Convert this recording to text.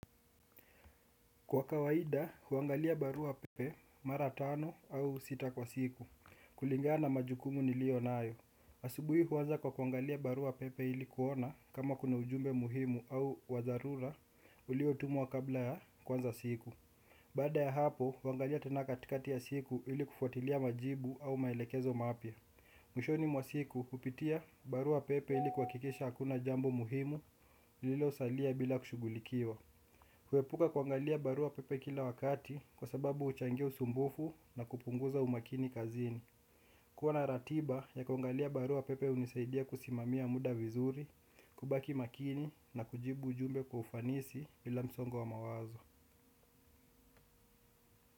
Kwa kawaida, huangalia barua pepe mara tano au sita kwa siku. Kulingana na majukumu nilio nayo. Asubui huanza kwa huangalia barua pepe ili kuona kama kuna ujumbe muhimu au wa dharura uliotumwa kabla ya kuanza siku. Baada ya hapo, huangalia tena katikati ya siku ili kufuatilia majibu au maelekezo mapya. Mwishoni mwa siku, hupitia barua pepe ili kuhakikisha hakuna jambo muhimu lilosalia bila kushughulikiwa. Kuepuka kuangalia barua pepe kila wakati kwa sababu huchangia usumbufu na kupunguza umakini kazini. Kuwa na ratiba ya kuangalia barua pepe hunisaidia kusimamia muda vizuri, kubaki makini na kujibu ujumbe kwa ufanisi ila msongo wa mawazo.